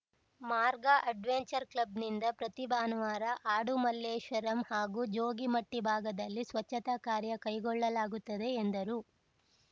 ಮಾರ್ಗ ಅಡ್ವೆಂಚರ್‌ ಕ್ಲಬ್‌ನಿಂದ ಪ್ರತಿ ಭಾನುವಾರ ಆಡುಮಲ್ಲೇಶ್ವರಂ ಹಾಗೂ ಜೋಗಿಮಟ್ಟಿಭಾಗದಲ್ಲಿ ಸ್ವಚ್ಛತಾ ಕಾರ್ಯ ಕೈಗೊಳ್ಳಲಾಗುತ್ತದೆ ಎಂದರು